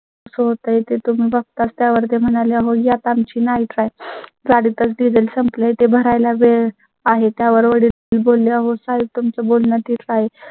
कसा होतंय ते बघताच त्यावर म्हणाले, अहो, यात आमची नाही. काय तास diesel संपलाय ते भरायला वेळ आहे. त्यावर बोलल्या होत आहे. तुम चं बोलणं ठीक आहे